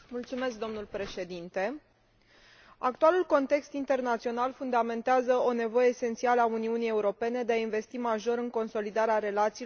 Actualul context internațional fundamentează o nevoie esențială a Uniunii Europene de a investi major în consolidarea relațiilor cu partenerii din spațiul extra comunitar.